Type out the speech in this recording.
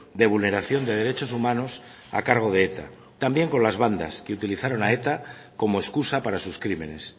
de vulneración de derechos humanos a cargo de eta también con las bandas que utilizaron a eta como excusa para sus crímenes